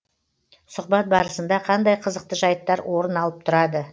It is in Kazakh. сұхбат барысында қандай қызықты жайттар орын алып тұрады